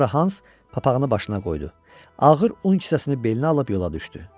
Sonra Hans papağını başına qoydu, ağır un kisəsini belinə alıb yola düşdü.